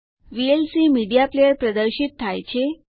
VLC media player પ્રદર્શિત થાય છે